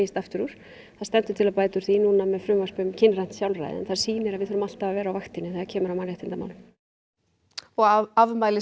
aftur úr það stendur til að bæta úr því núna með frumvarpi um kynrænt sjálfræði en það sýnir að við þurfum alltaf að vera á vaktinni þegar kemur að mannréttindamálum og afmælis